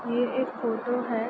ये एक फोटो है।